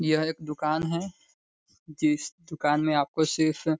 यह एक दुकान है । जिस दुकान में आपको सिर्फ --